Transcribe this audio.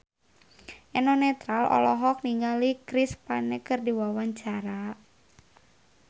Eno Netral olohok ningali Chris Pane keur diwawancara